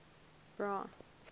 bra